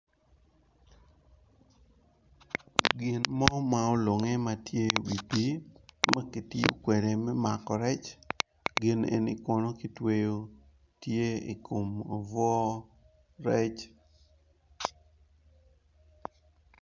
Gin mo ma olunge ma tye i wi pii ma ki tiyo kwede me mako rec gin eni kono kitweyo tye i kom oboo rec.